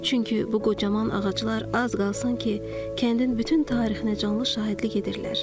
Çünki bu qocaman ağaclar az qalsın ki, kəndin bütün tarixinə canlı şahidlik edirlər.